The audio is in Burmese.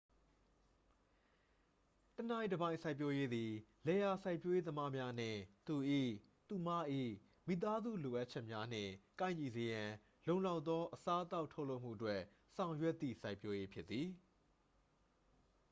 တစ်နိုင်တစ်ပိုင် စိုက်ပျိုးရေးသည် လယ်ယာစိုက်ပျိုးရေးသမားများနှင့် သူ၏/သူမ၏ မိသားစု လိုအပ်ချက်များနှင့် ကိုက်ညီစေရန် လုံလောက်သော အစားအသောက် ထုတ်လုပ်မှုအတွက် ဆောင်ရွက်သည့် စိုက်ပျိုးရေး ဖြစ်သည်။